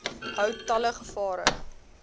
hou talle gevare